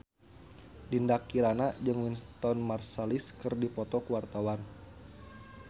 Dinda Kirana jeung Wynton Marsalis keur dipoto ku wartawan